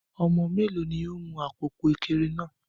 Ọmọ méèló ni ó n mu àpòpọ̀ Ekere náà?